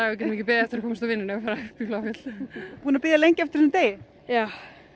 við getum ekki beðið eftir að komast úr vinnunni og fara Bláfjöll búinn að bíða lengi eftir þessum degi já